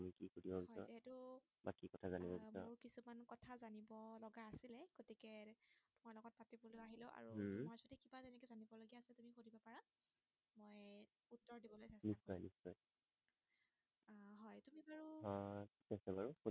আহ ঠিক আছে বাৰু